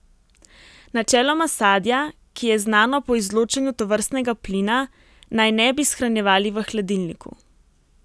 Načeloma sadja, ki je znano po izločanju tovrstnega plina, naj ne bi shranjevali v hladilniku.